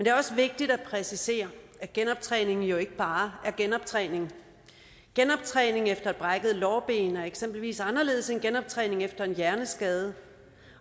er også vigtigt at præcisere at genoptræning jo ikke bare er genoptræning genoptræning efter et brækket lårben er eksempelvis anderledes end genoptræning efter en hjerneskade